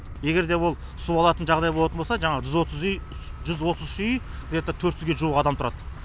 егер де ол су алатын жағдай болатын болса жаңағы жүз отыз үй где то төрт жүзге жуық адам тұрады